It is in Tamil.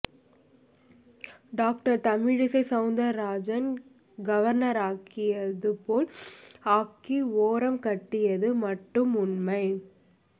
டாக்டர் தமிழிசை சௌந்தரராஜன் கவர்னராக்கியது போல் ஆக்கி ஓரம் கட்டியது மட்டும் உண்மை